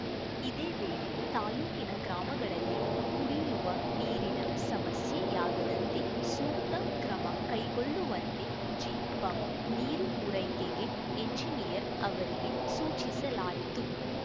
ಇದೇ ವೇಳೆ ತಾಲೂಕಿನ ಗ್ರಾಮಗಳಲ್ಲಿ ಕುಡಿಯುವ ನೀರಿನ ಸಮಸ್ಯೆಯಾಗದಂತೆ ಸೂಕ್ತ ಕ್ರಮಕೈಗೊಳ್ಳುವಂತೆ ಜಿಪಂ ನೀರು ಪೂರೈಕೆಗೆ ಎಂಜಿನಿಯರ್‌ ಅವರಿಗೆ ಸೂಚಿಸಲಾಯಿತು